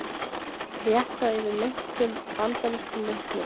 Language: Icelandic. Réttað yfir meintum bandarískum njósnurum